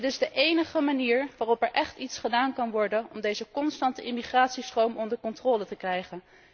Dit is de enige manier waarop er echt iets gedaan kan worden om deze constante immigratiestroom onder controle te krijgen.